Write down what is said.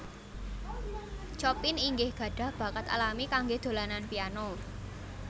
Chopin inggih gadhah bakat alami kanggé dolanan piano